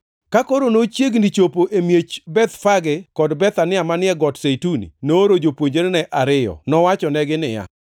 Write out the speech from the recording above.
Ka koro nochiegni chopo e miech Bethfage kod Bethania manie Got Zeituni, nooro jopuonjrene ariyo, nowachonegi niya,